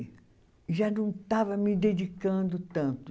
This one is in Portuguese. Já não estava me dedicando tanto.